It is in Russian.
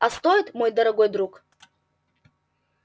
а стоит мой дорогой друг